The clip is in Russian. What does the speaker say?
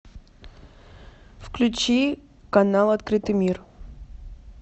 включи канал открытый мир